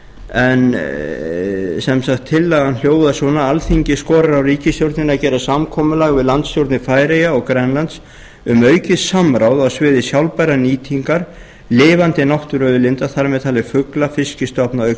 en tillagan hljóðar svona alþingi skorar á ríkisstjórnina að gera samkomulag við landsstjórnir færeyja og grænlands um aukið samráð á sviði sjálfbærrar nýtingar lifandi náttúruauðlinda þar með talin fugla og fiskstofna